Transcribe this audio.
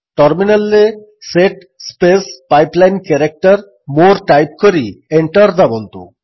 ଟର୍ମିନାଲ୍ରେ set space pipe line character more type କରି enter ଦାବନ୍ତୁ